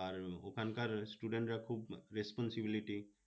আর ওখানকার student রা খুব responsibility.